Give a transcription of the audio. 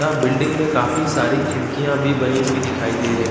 building में काफी सारी खिड़कियाँ भी बनी हुई दिखाई दे रही--